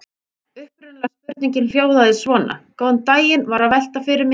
Upprunalega spurningin hljóðaði svona: Góðan daginn- var að velta fyrir mér.